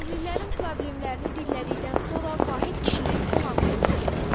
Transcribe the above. Kəndlilərin problemlərini dinlədikdən sonra Vahid kişinin qonağı olduq.